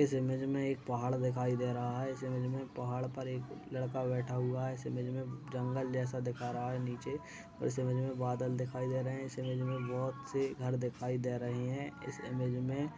इस इमेज में एक पहाड़ दिखाई दे रहा है। इस इमेज में पहाड़ पर एक लड़का बैठा हुआ है। इस इमेज में जंगल जैसा दिखा रहा है नीचे। इस इमेज में बादल दिखाई दे रहे हैं। इस इमेज में बहोत से घर दिखाई दे रहे है। इस इमेज में